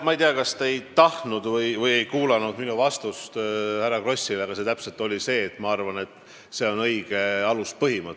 Ma ei tea, kas te ei tahtnud kuulata või ei kuulanud minu vastust härra Krossile, aga täpselt seda ma ütlesin, et minu arvates see on õige aluspõhimõte.